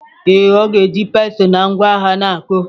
Ee, ọ na-eji pestle na ngwa agha na-akụ.